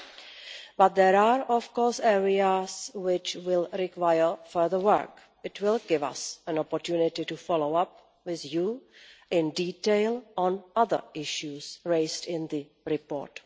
However, there are areas which will require further work. This will give us an opportunity to follow up, with you, in detail on other issues raised in the report.